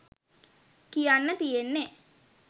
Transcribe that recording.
කියන්න තියෙන්නෙ.